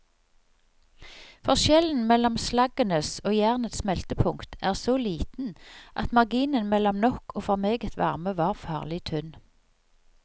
Forskjellen mellom slaggens og jernets smeltepunkt er så liten at marginen mellom nok og for meget varme var farlig tynn.